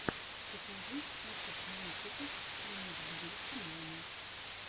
покажи список мультиков мисс бьюти мамы